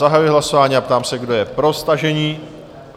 Zahajuji hlasování a ptám se, kdo je pro stažení?